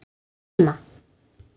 Hver á að dæma?